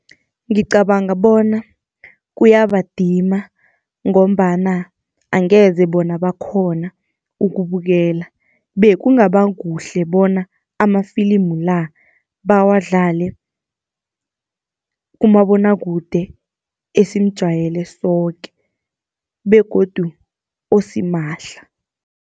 Ngicabanga bona kuyabadima, ngombana angeze bona bakghona ukubukela. Bekungaba kuhle bona ama filimu la, bawadlale kumabonwakude esimujayele soke begodu osimahla.